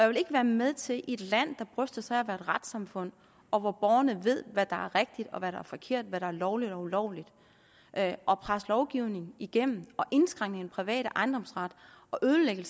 vil ikke være med til i et land der bryster sig af at retssamfund og hvor borgerne ved hvad der er rigtigt og hvad der er forkert og hvad der er lovligt og ulovligt at at presse lovgivning igennem og indskrænke den private ejendomsret og ødelægge